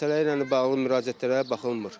Məsələ ilə bağlı müraciətlərə baxılmır.